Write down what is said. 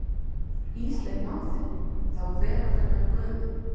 Ísleif mág þinn, þá veraldarinnar gufu.